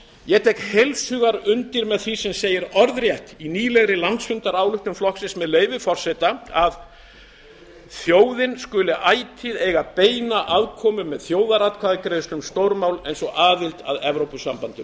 ég tek heils hugar undir með því sem segir orðrétt í nýlegri landsfundarályktun flokksins með leyfi forseta að þjóðin skuli ætíð eiga beina aðkomu með þjóðaratkvæðagreiðslu að ákvörðunum um stórmál eins og aðild að evrópusambandinu